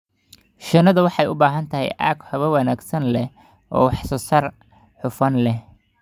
Shinnidu waxay u baahan tahay aag hawo wanaagsan leh oo wax soo saar hufan leh.